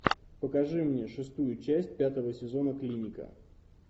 покажи мне шестую часть пятого сезона клиника